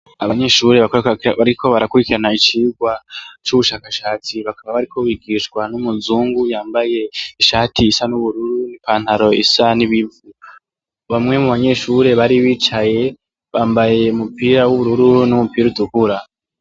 Abanyeshure bariko barakwirikirana icirwa cubushaka shatsi bakaba bariko bigishwa numuzungu yambaye ishati isa nubururu ipantaro isa nibivu bamwe bubanyeshure bari bicaye bambaye umupira wubururu nuwutukura